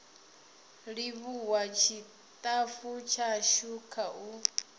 livhuwa tshitafu tshashu kha u